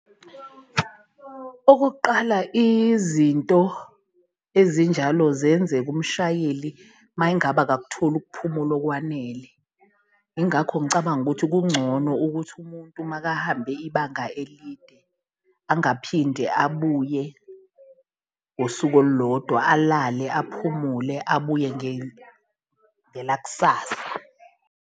Okokuqala izinto ezinjalo ziyenzeka umshayeli mayengabe akakutholi ukuphumula okwanele, ingakho ngicabanga ukuthi kungcono ukuthi umuntu makahambe ibanga elide angaphinde abuye ngosuku olulodwa, alale aphumule, abuye ngelakusasa.